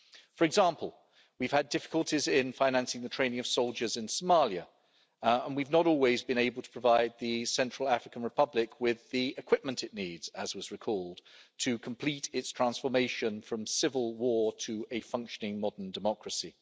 For example, we've had difficulties in financing the training of soldiers in Somalia and we have not always been able to provide the Central African Republic with the equipment it needs, as was recalled, to complete its transformation from civil war to a functioning modern democracy.